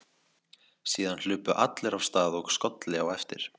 Síðan hlupu allir af stað og skolli á eftir.